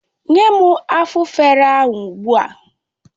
Nye m Afufara ahụ ogbu a!